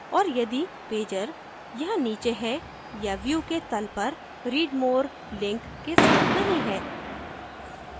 और यदि pager यहां नीचे है या view के तल पर read more link के साथ नहीं है